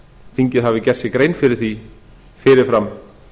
þingið hafi gert sér grein fyrir því fyrirfram